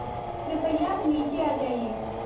कृपया अब नीचे आ जाइये